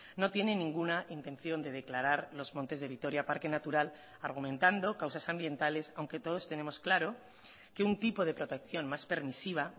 no tiene ninguna intención de declarar los montes de vitoria parque natural argumentando causas ambientales aunque todos tenemos claro que un tipo de protección más permisiva